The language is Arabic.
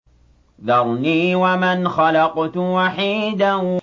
ذَرْنِي وَمَنْ خَلَقْتُ وَحِيدًا